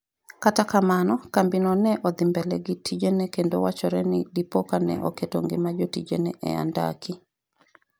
kata kamano, kambino ne odhi mbele gi tijene kendo wachore ni dipo ka ne oketo ngima jotijene e andaki